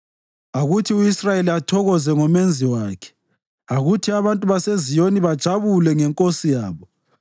Akuthi u-Israyeli athokoze ngoMenzi wakhe; akuthi abantu baseZiyoni bajabule ngeNkosi yabo.